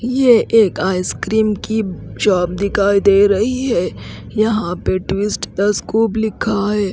ये एक आइसक्रीम की शॉप दिखाई दे रही है यहां पे ट्विस्ट द स्कोप लिखा है।